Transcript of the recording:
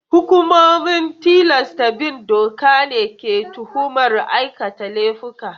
Hukumomin tilasta bin doka ne ke tuhumar aikata laifuka.